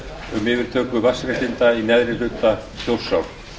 um yfirtöku vatnsréttinda í neðri hluta þjórsár